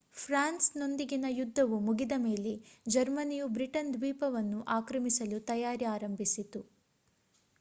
France ನೊಂದಿಗಿನ ಯುದ್ದವು ಮುಗಿದ ಮೇಲೆ ಜರ್ಮನಿಯು ಬ್ರಿಟನ್ ದ್ವೀಪವನ್ನು ಆಕ್ರಮಿಸಲು ತಯಾರಿ ಆರಂಭಿಸಿತು